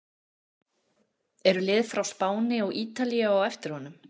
Eru lið frá Spáni og Ítalíu á eftir honum?